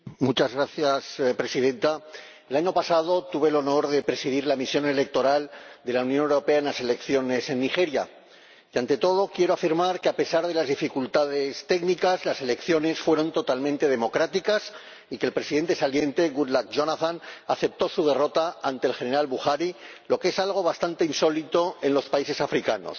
Señora Presidenta, el año pasado tuve el honor de presidir la misión electoral de la Unión Europea en las elecciones en Nigeria y, ante todo, quiero afirmar que, a pesar de las dificultades técnicas, las elecciones fueron totalmente democráticas y que el Presidente saliente, Goodluck Jonathan, aceptó su derrota ante el general Buhari, lo que es algo bastante insólito en los países africanos.